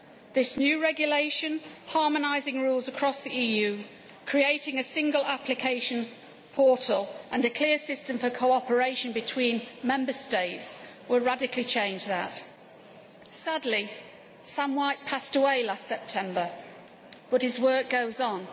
This new regulation, harmonising rules across the EU, creating a single application portal and a clear system for cooperation between Member States, would radically change that. Sadly, Sam White passed away last September but his work goes on.